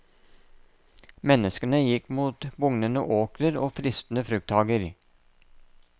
Menneskene gikk mot bugnende åkrer og fristende frukthager.